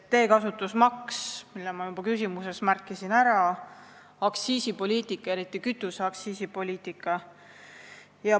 Ma juba märkisin oma küsimuses ära teekasutusmaksu, aga mainin ka aktsiisipoliitikat, eriti kütuseaktsiisi poliitikat.